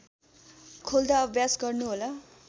खोल्दा अभ्यास गर्नुहोला